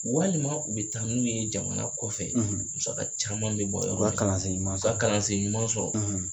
Walima u bi taa n'u ye jamana kɔfɛ musaka caman mi bɔ yɔrɔ min na, u ka kalansen ɲuman sɔrɔ, u ka kalansen ɲuman sɔrɔ